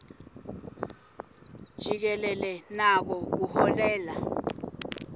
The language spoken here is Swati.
jikelele nako kuholela